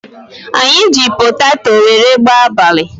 Anyị ji potato wéré gbaa abalị